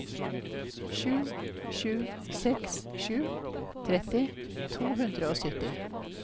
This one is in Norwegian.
sju sju seks sju tretti to hundre og sytti